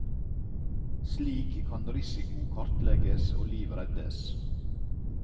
Slik kan risiko kartlegges og liv reddes.